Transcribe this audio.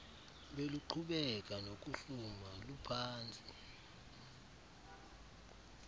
beluqhubeka nokuhluma luphantsi